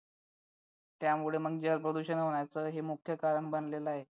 त्यामुळे म्हणजे प्रदूषणाचं हे मुख्य कारण बनलेला आहे